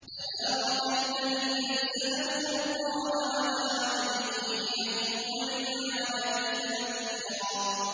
تَبَارَكَ الَّذِي نَزَّلَ الْفُرْقَانَ عَلَىٰ عَبْدِهِ لِيَكُونَ لِلْعَالَمِينَ نَذِيرًا